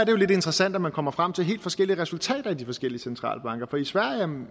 jo lidt interessant at man kommer frem til helt forskellige resultater i de forskellige centralbanker i sverige